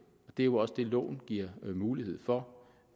det er jo også det loven giver mulighed for